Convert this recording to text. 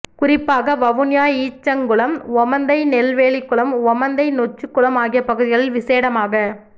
குறிப்பாக வவுனியா ஈச்சங்குளம் ஓமந்தை நெல்வேலிக்குளம் ஓமந்தை நொச்சிக்குளம் ஆகிய பகுதிகளில் விசேடமாக